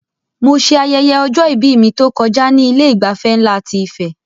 Mo ṣe ayẹyẹ ọjọ-ìbí mi tó kọjá ní Ilé ìgbafẹ́ nlá ti Ife